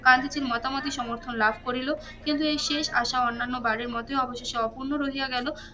গান্ধীজির মতামতই সমর্থন লাভ করিলো কিন্তু এই শেষ আশা অন্যান্য বারের মতো অবশেষে অপুর্নো রহিয়া গেলো